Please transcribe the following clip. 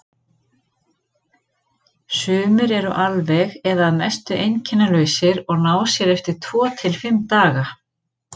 Sumir eru alveg eða að mestu einkennalausir og ná sér eftir tvo til fimm daga.